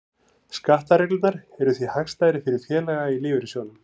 Skattareglurnar eru því hagstæðar fyrir félaga í lífeyrissjóðum.